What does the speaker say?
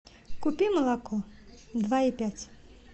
купи молоко два и пять